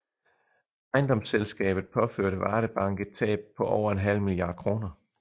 Ejendomsselskabet påførte Varde Bank et tab på over en halv milliard kroner